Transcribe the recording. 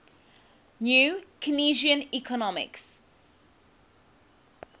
new keynesian economics